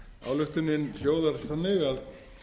ályktunin hljóðar þannig að